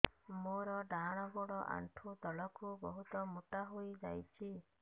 ମୋର ଡାହାଣ ଗୋଡ଼ ଆଣ୍ଠୁ ତଳକୁ ବହୁତ ମୋଟା ହେଇଯାଉଛି